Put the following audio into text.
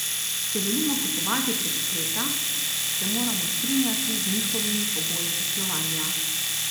Če želimo kupovati prek spleta, se moramo strinjati z njihovimi pogoji poslovanja.